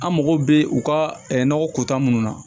An mago bɛ u ka nɔgɔ ko ta minnu na